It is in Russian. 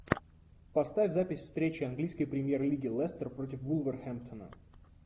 поставь запись встречи английской премьер лиги лестер против вулверхэмптона